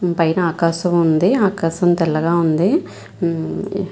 దీనిపైన ఆకాశం ఉంది. ఆకాశం తెల్లగా ఉంది. ఊ.